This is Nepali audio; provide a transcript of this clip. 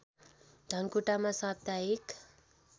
धनकुटामा साप्ताहिक